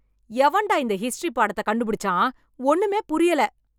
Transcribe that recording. எவன்டா இந்த ஹிஸ்டரி பாடத்தை கண்டுபிடிச்சா ஒன்னுமே புரியல